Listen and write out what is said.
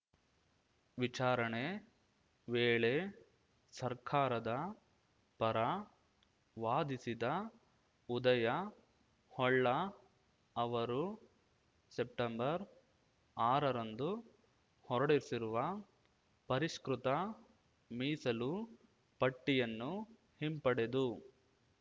ವಿಚಾರಣೆ ವೇಳೆ ಸರ್ಕಾರದ ಪರ ವಾದಿಸಿದ ಉದಯ ಹೊಳ್ಳ ಅವರು ಸೆಪ್ಟೆಂಬರ್ಆರರಂದು ಹೊರಡಿಸಿರುವ ಪರಿಷ್ಕೃತ ಮೀಸಲು ಪಟ್ಟಿಯನ್ನು ಹಿಂಪಡೆದು